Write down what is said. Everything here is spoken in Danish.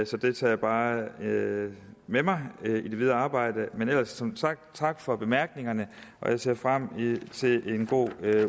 så det tager jeg bare med med mig i mit videre arbejde men ellers som sagt tak for bemærkningerne og jeg ser frem til en god